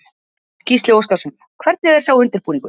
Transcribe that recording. Gísli Óskarsson: Hvernig er sá undirbúningur?